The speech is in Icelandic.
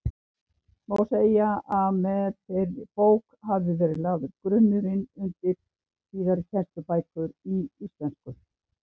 Má segja að með þeirri bók hafi verið lagður grunnurinn undir síðari kennslubækur í íslensku.